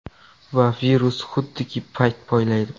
Va virus xuddiki payt poylaydi.